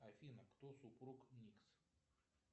афина кто супруг никс